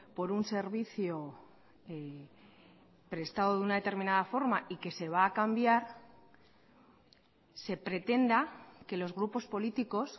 por un servicio prestado de una determinada forma y que se va a cambiar se pretenda que los grupos políticos